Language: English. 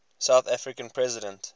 south african president